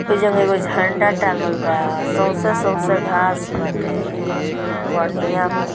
उ जेमे एगो झंडा टाँगल बा सोसे-सोसे घांस बाटे ।--